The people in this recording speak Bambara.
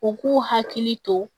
U k'u hakili to